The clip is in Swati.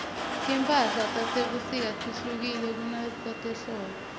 timphala tasebusika tehlukile kunetase hldbo